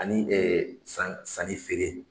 Ani sanni ni feere